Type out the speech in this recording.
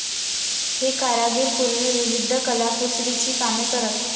हे कारागीर पूर्वी विविध कलाकुसरीची कामे करत.